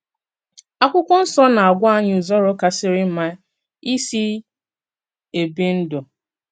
Àkwụ́kwọ́ Nsọ́ na-agwà ányì ùzòrò kàsìrì mmà ìsì èbí ndú.